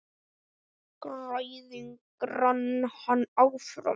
Græðgin rak hann áfram.